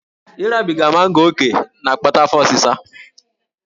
Ịrabiga mango ókè na-akpata afọ osịsa